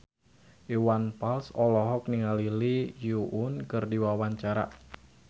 Iwan Fals olohok ningali Lee Yo Won keur diwawancara